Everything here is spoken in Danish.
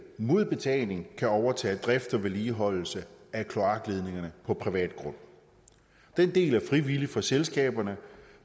mod betaling kan overtage drift og vedligeholdelse af kloakledningerne på privat grund den del er frivillig for selskaberne